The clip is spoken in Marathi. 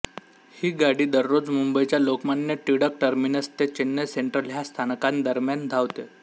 ही गाडी दररोज मुंबईच्या लोकमान्य टिळक टर्मिनस ते चेन्नई सेंट्रल ह्या स्थानकांदरम्यान धावते